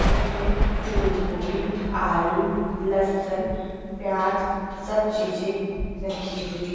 इसमें फूलगोभी आलू लहसन प्याज सब चीजें रखी हुई --